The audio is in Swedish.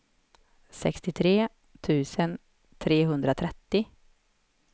sextiotre tusen trehundratrettio